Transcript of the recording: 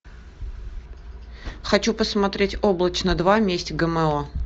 хочу посмотреть облачно два месть гмо